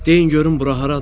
Deyin görüm bura haradır?